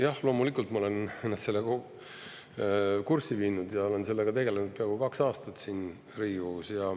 Jah, loomulikult ma olen ennast kurssi viinud ja olen sellega tegelenud peaaegu kaks aastat siin Riigikogus.